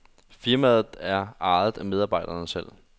Firmaet er ejet af medarbejderne selv.